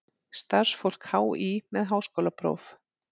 Starfsfólk HÍ með háskólapróf.